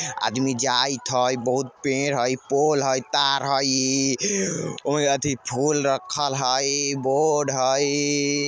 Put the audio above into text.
आदमी जाइत हई बहुत पेड़ है पोल है तार है और अथी फूल रखल हई बोर्ड हई।